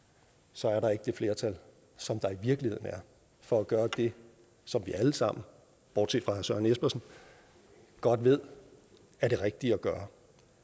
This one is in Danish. så er der ikke det flertal som der i virkeligheden er for at gøre det som vi alle sammen bortset fra herre søren espersen godt ved er det rigtige at gøre